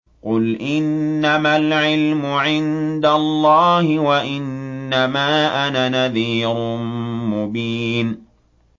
قُلْ إِنَّمَا الْعِلْمُ عِندَ اللَّهِ وَإِنَّمَا أَنَا نَذِيرٌ مُّبِينٌ